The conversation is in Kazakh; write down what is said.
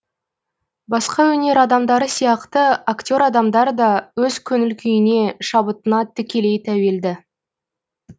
басқа өнер адамдары сияқты актер адамдар да өз көңіл күйіне шабытына тікелей тәуелді